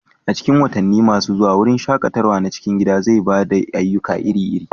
A cikin watanni masu zuwa, wurin shaƙatawa na cikin gida zai ba da ayyuka iri-iri